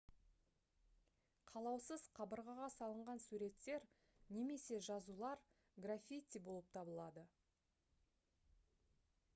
қалаусыз қабырғаға салынған суреттер немесе жазулар граффити болып табылады